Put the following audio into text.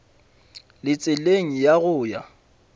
le tseleng ya go ya